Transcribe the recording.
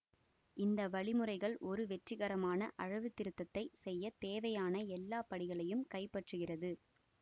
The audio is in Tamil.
இந்த வழிமுறைகள் ஒரு வெற்றிகரமான அளவுத்திருத்தத்தைச் செய்ய தேவையான எல்லா படிகளையும் கைப்பற்றுகிறது